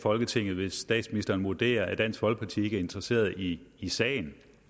folketinget hvis statsministeren vurderer at dansk folkeparti ikke er interesseret i sagen